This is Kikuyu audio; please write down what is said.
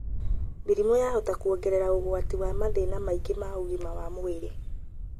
Mĩrimũ yahota kwongerera ũgwati wa mathĩna mangĩ ma ũgima wa mwĩrĩ.